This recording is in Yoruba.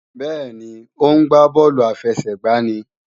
Bẹ́ẹ̀ni, ó ń gbá bọ́ọ̀lù àfẹsẹ̀gbá ní